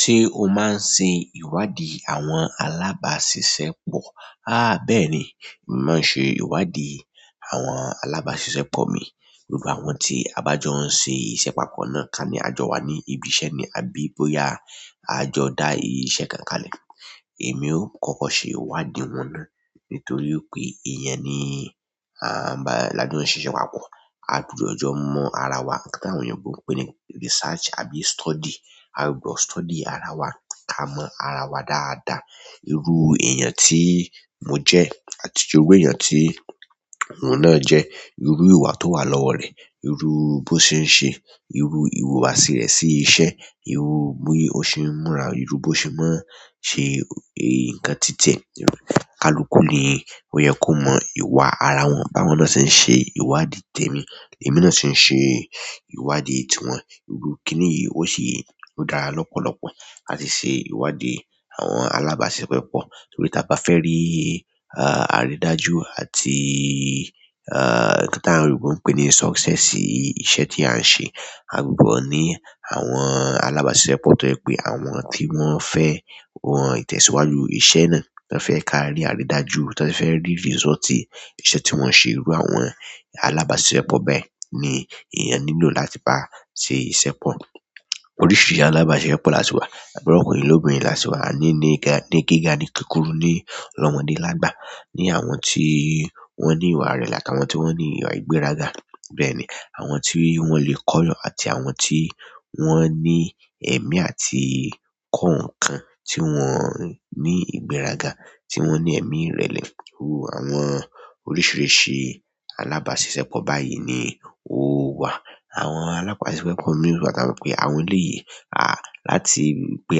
Ṣé o máa ń ṣe ìwádìí àwọn alábàáṣiṣẹ́ pọ̀? Há bẹ́ẹ̀ ni, mo máa ń ṣe ìwádìí àwọn alábàáṣiṣẹ́ pọ̀ mi. Gbogbo àwọn tí a bá jọ ń ṣe iṣẹ́ papọ̀ náà, ká ní àjọ wa ní ibi iṣẹ́ ni, àbí bóyá a jọ dá iṣẹ́ kan kalẹ̀. Èmi ó kókó ṣe ìwádìí wọn náà nítorí pé ìyẹn ni, àn, bá lájo n siṣẹ papọ̀. A gbúdọ̀ jọ mọ ara wa, nnkán ti àwọn oyinbo n pe ní research àbí study. A gbọ́dọ̀ study ara wa ká mọ ara wa dáadáa. Irú èèyàn tí mo jẹ́ àti irú èèyàn tí òun náà jẹ́, irú ìwà tó wà lọ́wọ́ rẹ̀, irú bó ṣe ń ṣe, irú ìhùwàsí rẹ̀ sí iṣẹ́, irú bí ó ṣe ń múra, irú bó ṣe máa ń ṣe nǹkan titiẹ. Kalukú ni ó yẹ kó mọ́ ìwà ara wọn báwọn náà ṣe ń ṣe ìwádìí tèmi, èmi náà sì ń ṣe ìwádìí tiwọn. Irú kíni yìí ó ṣe, o dára lọ́pọ̀lọ́pọ̀ láti ṣe ìwádìí àwọn alábàáṣiṣẹ́ pọ̀. Nítorí ta bá fẹ́ rí, àrídájú àti, nnkán tí àwọn oyinbo ń pè ní success iṣẹ́ tí a ń ṣe. A gbọ́dọ̀ ní àwọn alábàáṣiṣẹ́ pọ̀ tó jẹ pé àwọn tí wọ́n fẹ́ wọ́n ìtẹ̀síwájú iṣẹ́ náà, tí wọ́n fẹ́ ká rí àrídájú, tan fẹ́ rí result ìṣe tí wọ́n ṣe. Irú àwọn alábàáṣiṣẹ́ pọ̀ bẹ́ẹ̀ ni èèyàn nílò láti bá ṣe iṣẹ́ pọ̀. Oríṣìíríṣìí alábàáṣisepọ̀ lási wà. Lokunrin lobìnrin lási wá, a ní nígá, ní gíga, ní kúkúrú, ní lọ́mọ́dé lágbà. Ni àwọn tí wọ́n ní ìwà irẹ̀le àti àwọn tí wọ́n ní ìwà ìgbéraga. Bẹ́ẹ̀ ni àwọn tí wọ́n lè kọ́ eeyan àti àwọn tí wọ́n ní ẹ̀mí àti kọ́ nǹkan tí wọ́n ní ìgbéraga, tí wọ́n ní ẹ̀mí rẹ̀lẹ̀. Irú àwọn oríṣìíríṣìí alábàáṣiṣẹ́ pọ̀ báyìí ni ó wà. Àwọn alábàáṣiṣẹ́pọ̀ mi láti maa mo pé àwọn elèyi, láti pé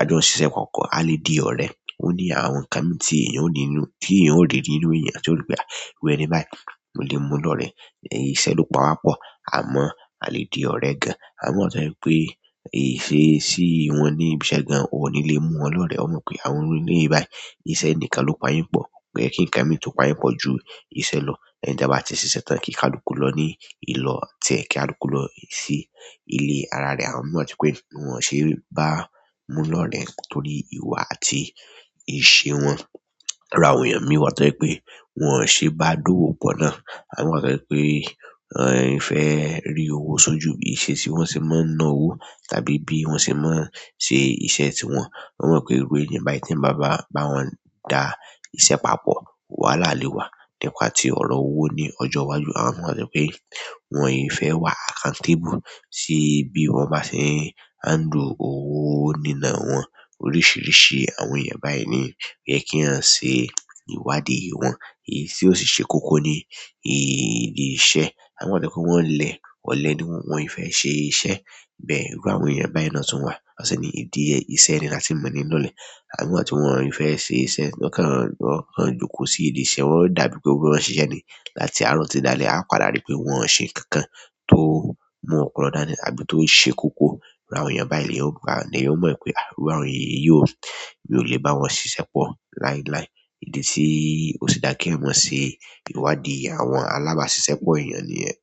a jọ ń ṣiṣẹ́ papọ̀, a lè di ọ̀re. Ó ní àwọn ǹnkan miì tí èèyàn ó ní n nu, tí èèyàn ó rí nínú èèyàn tí ó ní pé, iru ẹni báyìí, mo lè mú-un lọ̀rẹ́. Ìsẹ́ ló pawá pọ̀, àmọ́ a lẹ́ di ọ̀rẹ́ gan. Àwọn mi wa to jẹ wipé ìṣesí wọ́n ní ibi iṣẹ́ gan, ò ní lè mú wọn lọ̀rẹ́. O mo pé àwọn iru eleyi báyìí, iṣẹ́ nìkan ló pa yin pọ̀. Ko ye kí ǹnkan mi tó pa yin pọ̀ ju iṣẹ́ lọ, lẹ́yìn tí e bá ti ṣiṣẹ́ tán kí kalúkú lọ ní ìlò tiẹ̀, kí kalúkú lọ sí ilé ara rẹ̀, àwọn mi wa tó je pé wọn ò ṣe é bá mú-un lọ̀rẹ́ torí ìwà àti ìṣe wọn iru àwọn èèyàn mi wá tọ̀ je pé wọn ò ṣe é bá dówò pọ̀ náà. Àwọn mi wa tó jẹ pé wọ́n fẹ́ rí owó sójú ìṣesi bí wọ́n sì máa ń ná owó tàbí bí wọ́n ṣe máa ń ṣe iṣẹ́ tí wọn. Wọn mọ̀ pé irú èèyàn báyìí tí eeyan bá--bá bawọn da iṣẹ́ papọ̀, wàhálà lè wá. Nìpà tí ọ̀rọ̀ owó ní ọjọ́ iwájú. Àwọn mi wa tó jẹ pé wọn e fẹ́ wà accountable sí bí wọn bá ṣe ń handle owó nínà wọn. Oríṣìíríṣìí àwọn èèyàn báyìí ni oyẹ kí eeyan ṣe ìwádìí wọn. Èyí tí ó sì ṣe kko ni ìdí iṣẹ́. Àwọn mi wa to jẹ pe wọ́n lẹ̀, ọ̀lẹ́ ni wọ́n e fẹ́ ṣe iṣẹ́. Bẹ́ẹ̀ irú àwọn èèyàn báyìí náà tún wà. Wọ́n sì ní ìdí iṣẹ́ ẹni la tì n mọ̀ ní lolẹ̀. Àwọn mi wa ti wọn ẹ fẹ́ ṣe iṣẹ́, won o wọn kan jokọ́ sí ìdí iṣẹ́ wọn, ó dàbí pé wọn fe ṣiṣẹ́ ni láti àárọ̀ títi dálẹ́, a padà rí pé wọn ò ṣe nǹkan kan tó mú ọpọ̀lọ́ dánì àbí tó ṣe koko iru àwọn èèyàn báyìí ni eeyan ba. Ni eeyan o mọ̀ ipé irú àwọn iyi ò mi o lè bá wọn ṣiṣẹ́ pọ̀ láíláí. Idi tí ó fì dá ki ẹ̀eyan mọ̀ ṣe ìwádìí àwọn alábàáṣiṣẹ́pọ̀ èèyàn niyẹ́n.